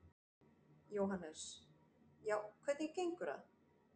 Jóhannes: Já, hvernig gengur það?